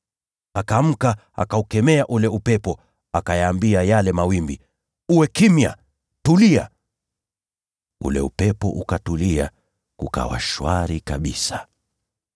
Akaamka, akaukemea ule upepo, akayaambia yale mawimbi, “Uwe kimya! Tulia!” Ule upepo ukatulia, kukawa shwari kabisa.